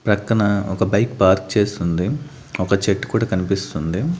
ప్రక్కన ఒక bike park చేసుంది ఒక చెట్టు కూడా కన్పిస్తుంది.